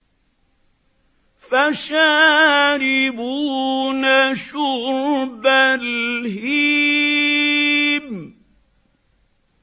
فَشَارِبُونَ شُرْبَ الْهِيمِ